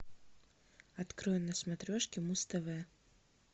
открой на смотрешки муз тв